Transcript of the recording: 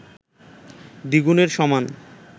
দ্বিগুণের সমান